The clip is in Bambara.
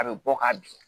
A bɛ bɔ ka bin